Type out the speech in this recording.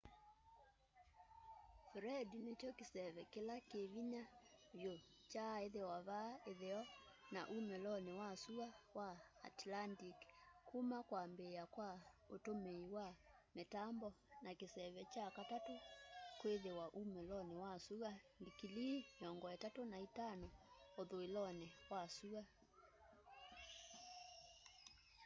fred nĩkyo kĩseve kĩla kĩvĩnya kĩvyũ kyaaĩthĩwa vaasa ĩtheo na ũmĩlonĩ wa sũa wa atlantĩc kũma kwambĩa kwa ũtũmĩĩ wa mitambo na kĩseve kya katatũ kwĩthĩwa ũmĩlonĩ wa sũa ndikilii 35 ũthũĩlonĩ wa sũa